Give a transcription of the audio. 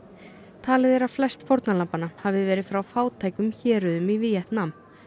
talið er að flest fórnarlambanna hafi verið frá fátækum héruðum í Víetnam